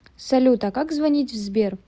салют а как звонить в сбер